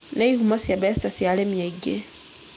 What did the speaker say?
nĩ ihumo cia mbeca cia arĩmi aingĩ.